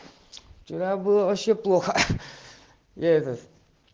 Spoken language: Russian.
вчера было вообще плохо я этот